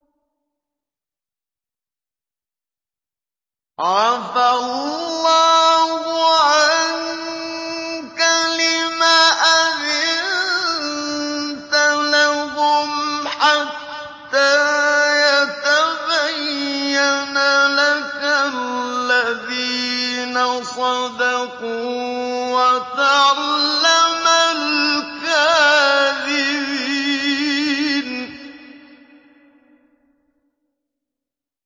عَفَا اللَّهُ عَنكَ لِمَ أَذِنتَ لَهُمْ حَتَّىٰ يَتَبَيَّنَ لَكَ الَّذِينَ صَدَقُوا وَتَعْلَمَ الْكَاذِبِينَ